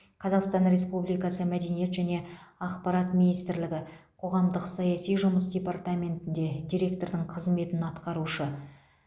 қазақстан республикасы мәдениет және ақпарат министрлігі қоғамдық саяси жұмыс департаментінде директордың қызметін атқарушы